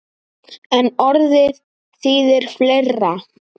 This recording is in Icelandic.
En orðið þýðir fleira.